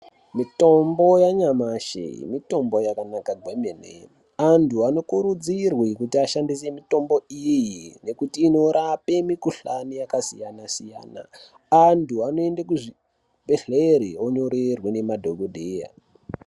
Mitombo yanyamashi mitombo yakanaka kwemene. Antu anokurudzirwe kuti ashandise mitombo iyi nekuti inorape mikhuhlane yakasiyana -siyana. Antu anoende kuzvibhedhlere onyorerwe nemadhokodheya.